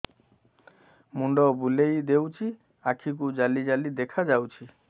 ମୁଣ୍ଡ ବୁଲେଇ ଦେଉଛି ଆଖି କୁ ଜାଲି ଜାଲି ଦେଖା ଯାଉଛି